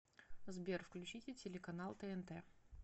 сбер включите телеканал тнт